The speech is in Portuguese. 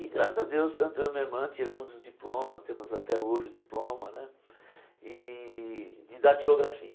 E graças a Deus, tanto eu e minha irmã tiramos o diploma, temos até hoje o diploma né e de didatilografia.